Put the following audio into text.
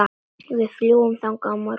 Við fljúgum þangað á morgun.